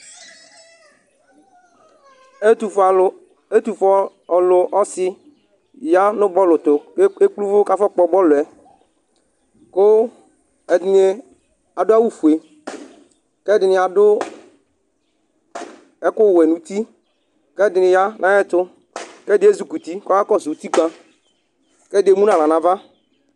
ɛtufue alu, ɛtufue ɔlu ɔsi ya nu bɔlu tu kekple uvu afɔ kpɔ bɔluɛ , ku ɛdini adu awu fue ku ɛdini adu ɛku wɛ nuti , kɛdini ya nayɛtu, kɛdini ezukuti kɔkakɔsu utikpa, kɛdi emu naɣla nava